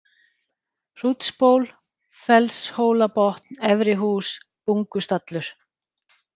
Hrútsból, Fellshólabotn, Efrihús, Bungustallur